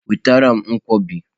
Nwetara m Nkwobi!